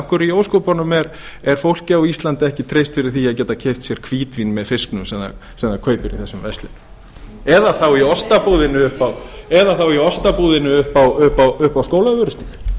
hverju í ósköpunum er fólki á íslandi ekki treyst fyrir því að geta keypt sér hvítvín með fiskinum sem það kaupir í þessari verslun eða þá í ostabúðinni uppi á skólavörðustíg